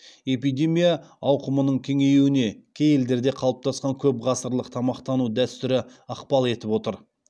эпидемия ауқымының кеңеюіне кей елдерде қалыптасқан көп ғасырлық тамақтану дәстүрі ықпал етіп отыр